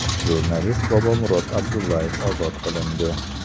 Jurnalist Bobomurod Abdullayev ozod qilindi .